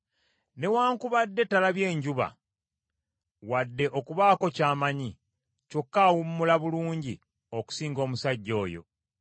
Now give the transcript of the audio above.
Newaakubadde talabye njuba, wadde okubaako ky’amanya, kyokka awummula bulungi okusinga omusajja oyo: